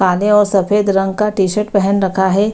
काले और सफेद रंग का टी-शर्ट पहन रखा है।